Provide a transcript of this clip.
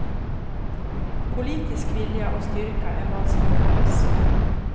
Politisk vilja och styrka är vad som behövs.